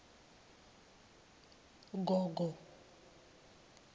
gogogo